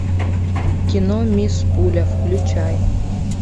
кино мисс пуля включай